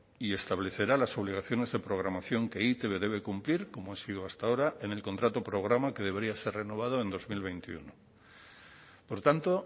y establecerá las obligaciones de programación que e i te be debe cumplir como ha sido hasta ahora en el contrato programa que debería ser renovado en dos mil veintiuno por tanto